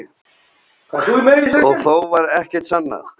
Og þó varð ekkert sannað.